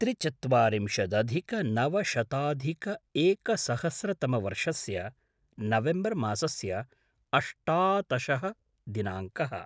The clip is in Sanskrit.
त्रिचत्वारिंशदधिकनवशताधिकएकसहस्रतमवर्षस्य नवेम्बर् मासस्य अष्टातशः दिनाङ्कः